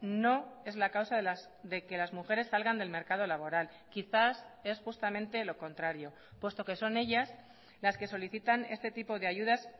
no es la causa de que las mujeres salgan del mercado laboral quizás es justamente lo contrario puesto que son ellas las que solicitan este tipo de ayudas